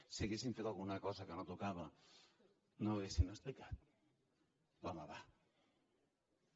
si haguéssim fet alguna cosa que no tocava no ho haurien explicat va home va